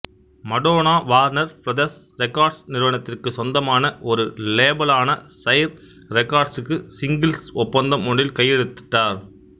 Madonna Warner Brothers Records நிறுவனத்திற்கு சொந்தமான ஒரு லேபலான சைர் ரெக்கார்ட்ஸ்க்கு சிங்கிள்ஸ் ஒப்பந்தம் ஒன்றில் கையெழுத்திட்டார்